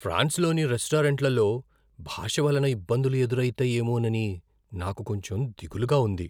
ఫ్రాన్స్లోని రెస్టారెంట్లలో భాష వలన ఇబ్బందులు ఎదురైతాయేమోనని నాకు కొంచెం దిగులుగా ఉంది.